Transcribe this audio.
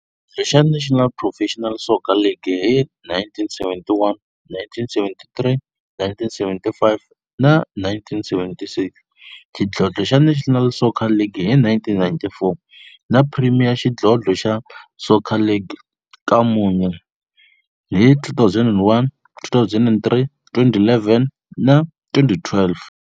Xa National Professional Soccer League hi 1971, 1973, 1975 na 1976, xidlodlo xa National Soccer League hi 1994, na Premier Xidlodlo xa Soccer League ka mune, hi 2001, 2003, 2011 na 2012.